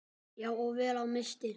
Já, og vel á minnst.